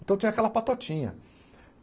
Então tinha aquela patotinha.